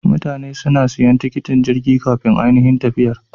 Mutane suna siyan tiketin Jirgi kafin anihin tafiyar.